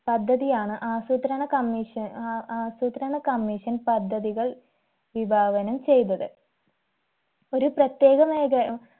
പദ്ധതിയാണ് ആസൂത്രണ commission ആ ആസൂത്രണ commission പദ്ധതികൾ വിഭാവനം ചെയ്തത് ഒരു പ്രത്യേക മേഖ